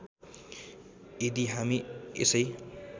यदि हामी यसै